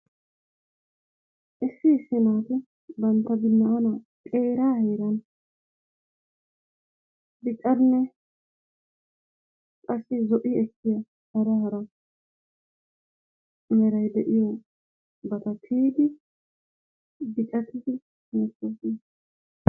Issi issi naati bantta binaanaa xeeraa heeranb biccanne qassi zo"i ekkiya hara meray de'iyobata tiyidi biccattidi beettoosona.